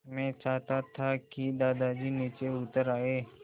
मैं चाहता था कि दादाजी नीचे उतर आएँ